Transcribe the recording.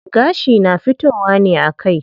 Gashi na fitowa ne a kai.